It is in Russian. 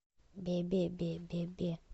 бе бе бе бе бе